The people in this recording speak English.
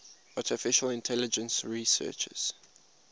artificial intelligence researchers